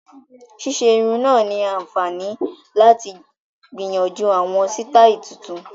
Ṣíṣe irun náà ni àǹfààní láti gbìyànjú àwọn sítáì tuntun